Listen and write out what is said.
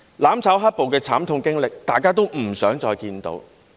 "攬炒"、"黑暴"的慘痛經歷，大家也不想再看見。